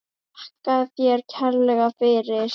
Þakka þér kærlega fyrir.